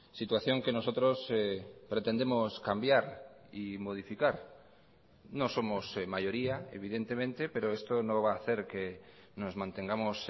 situación que nosotros pretendemos cambiar y modificar no somos mayoría evidentemente pero esto no va a hacer que nos mantengamos